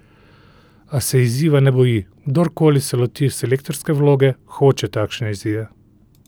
A se izziva ne boji: 'Kdorkoli se loti selektorske vloge, hoče takšne izzive.